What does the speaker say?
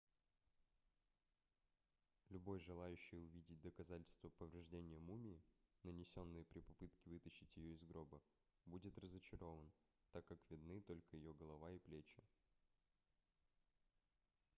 любой желающий увидеть доказательства повреждения мумии нанесенные при попытке вытащить ее из гроба будет разочарован так как видны только ее голова и плечи